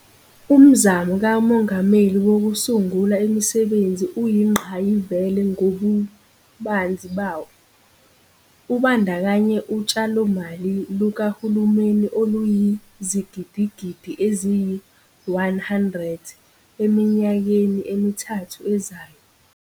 Umzamo kaMongameli Wokusungula Imisebenzi uyingqayizivele ngobubanzi bawo, ubandakanya utshalomali lukahulumeni oluyizigidigidi eziyi-R100 eminyakeni emithathu ezayo.